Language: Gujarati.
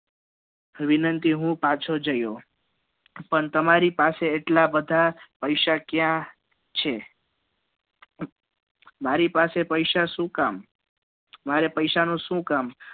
વિનંતી e હુ પાછો જયો પણ તમારી પાસે એટલા બધા પૈસા ક્યાં છે મારી પાસે પૈસા શુ કામ મારે પૈસા નું શું કામ